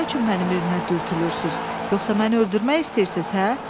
Siz nə üçün mənim evimə dürtülürsüz, yoxsa məni öldürmək istəyirsiz, hə?